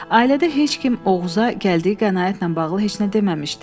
Ailədə heç kim Oğuz'a gəldiyi qənaətlə bağlı heç nə deməmişdi.